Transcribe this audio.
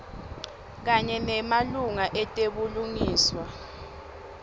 kanye nemalunga etebulungiswa